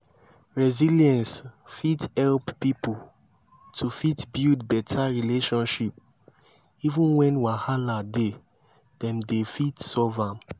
resilience fit help pipo to fit build better relationship even when wahala dey dem dey fit solve am